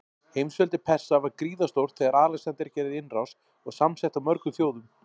Heimsveldi Persa var gríðarstórt þegar Alexander gerði innrás, og samsett af mörgum þjóðum.